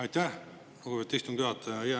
Aitäh, lugupeetud istungi juhataja!